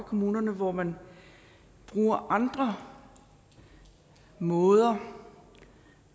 kommunerne hvor man bruger andre måder